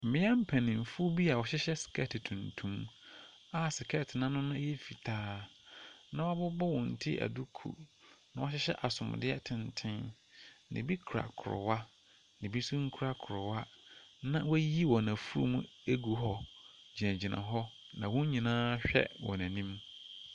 Mmea mpaninfo bi a ɔhyehyɛ skɛɛte tuntum a skɛɛte no ano yɛ fitaa na wabobɔ wɔn ti aduukuu na wahyehyɛ asomdeɛ tenten. Na ebi kura krowa, ebi nso nkura krowa, na wayi wɔn afu mu egu hɔ gyina gyina hɔ, na wɔn nyinaa hwɛ wɔn anim.